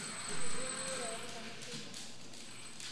Miyieu nirura we nkanashe ino?